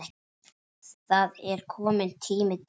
Það er kominn tími til.